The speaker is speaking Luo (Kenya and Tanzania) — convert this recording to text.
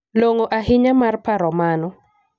Long'o ahinya mar paro mano.